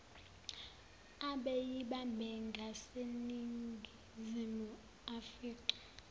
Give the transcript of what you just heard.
abeyibambe ngaseningizimu aficwe